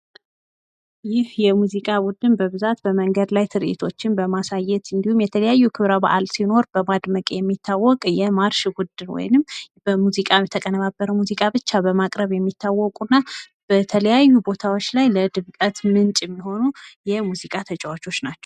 ይህ የሙዚቃ ቡድን በብዛት በመንገድ ላይ ትርዒቶችን በማሳየት እንዲሁም የተለያየ ክብረ በዓል ሲኖር በማድመቅ የሚታወቅ የማርሽ ቡድን ወይም በሙዚቃ የተቀነባበረ ሙዚቃ ብቻ በማቅረብ የሚታወቁ እና በተለያዩ ቦታዎች ላይ የድምቀት ምንጭ የሚሆኑ የሙዚቃ ተጫዋቾች ናቸው ።